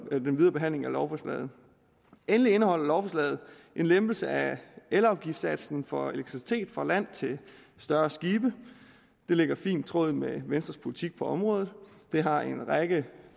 den videre behandling af lovforslaget endelig indeholder lovforslaget en lempelse af elafgiftssatsen for elektricitet fra land til større skibe det ligger fint i tråd med venstres politik på området det har en række